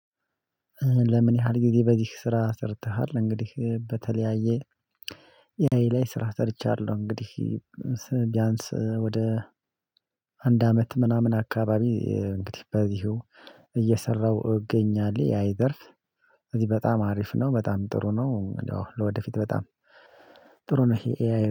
ለምን ያህል ጊዜ በዚህ ስራ ሰርተሃል? እንግዲህ በተለያየ የሃይ ላይ ስራ ሰርቻለሁ። እንግዲህ ቢያንስ ወደ አንድ አመት ምናምን አካባቢ እንግዲህ በዚሁ እየሰራሁ እገኛለሁ። አይዘርስ እዚህ በጣም አሪፍ ነው በጣም ጥሩ ነው። ለወደፊት በጣም ጥሩ ነው ይሄ ኤአይ